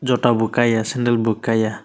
jota bo kaya sendal bo kaya.